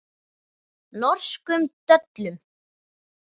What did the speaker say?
Norskum döllum.